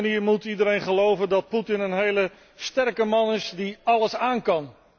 Op die manier moet iedereen geloven dat Putin een hele sterke man is die alles aankan.